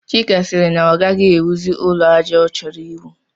Chika sịrị na ọ gaghị ewuzi ụlọ àjà ọ chọrọ iwu